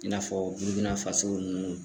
I n'a fɔ n'i bɛna faso nunnu.